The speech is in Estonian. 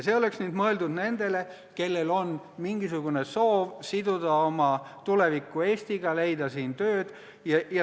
See oleks mõeldud nendele, kellel on mingisugune soov siduda oma tulevik Eestiga, leida siin tööd.